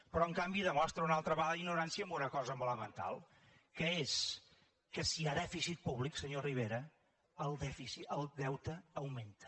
però en canvi demostra una altra vegada ignorància en una cosa molt elemental que és que si hi ha dèficit públic senyor rivera el deute augmenta